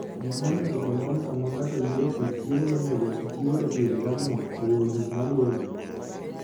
Gik monego onon sama ng'ato yiero kit chiemo monego otigo e pidho jamni oriwo gik maluwogi: